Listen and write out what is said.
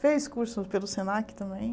Fez curso pelo Senac também.